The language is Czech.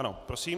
Ano, prosím.